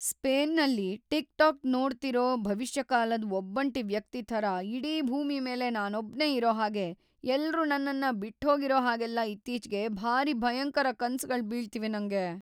ಸ್ಪೇನ್‌ನಲ್ಲಿ TikTok ನೋಡ್ತಿರೋ ಭವಿಷ್ಯಕಾಲದ್‌ ಒಬ್ಬಂಟಿ ವ್ಯಕ್ತಿ ಥರ ಇಡೀ ಭೂಮಿ ಮೇಲೆ ನಾನೊಬ್ನೇ ಇರೋ ಹಾಗೆ, ಎಲ್ರೂ ನನ್ನನ್ನ ಬಿಟ್ಹೋಗಿರೋ ಹಾಗೆಲ್ಲ ಇತ್ತೀಚ್ಗೆ ಭಾರೀ ಭಯಂಕರ ಕನ್ಸ್‌ಗಳು ಬೀಳ್ತಿವೆ ನಂಗೆ.